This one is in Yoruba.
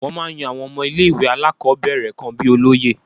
Wọ́n máa ń yan àwọn ọmọ ilé ìwé alákọ̀ọ́bẹ̀rẹ̀ kan bíi olóye.